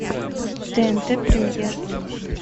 тнт премьер